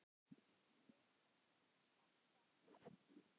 hóta að sparka